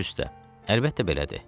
Baş üstə, əlbəttə belədir.